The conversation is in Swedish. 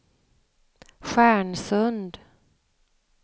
Stjärnsund